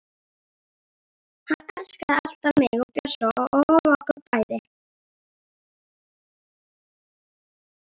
Hann elskaði alltaf mig og Bjössa og okkur bæði.